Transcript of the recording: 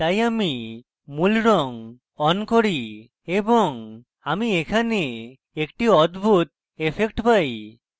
তাই আমি মূল রঙ on করি এবং আমি এখানে একটি অদ্ভুত ইফেক্ট পাই